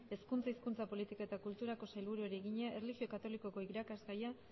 hezkuntza hizkuntza politika eta kulturako sailburuari egina erlijio katolikoko irakasgaia